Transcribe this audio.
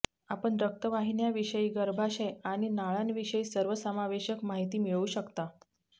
आपण रक्तवाहिन्याविषयी गर्भाशय आणि नाळांविषयी सर्वसमावेशक माहिती मिळवू शकता